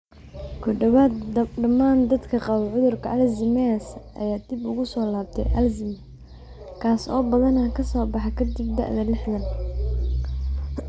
Ku dhowaad dhammaan dadka qaba cudurka Alzheimers ayaa dib ugu soo laabtay Alzheimers, kaas oo badanaa soo baxa ka dib da'da liixdhaan.